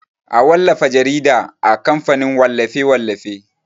A wallafa jarida a kamfanin wallafe-wallafe.